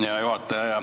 Hea juhataja!